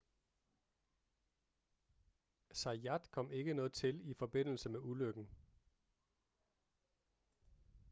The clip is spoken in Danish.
zayat kom ikke noget til i forbindelse med ulykken